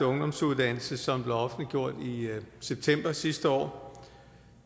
ungdomsuddannelse som blev offentliggjort i september sidste år